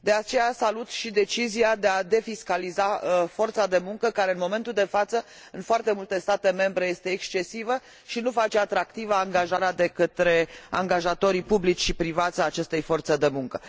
De aceea, salut și decizia de a defiscaliza forța de muncă care, în momentul de față, în foarte multe state membre este excesivă și nu face atractivă angajarea de către angajatorii publici și privați a acestei forțe de muncă.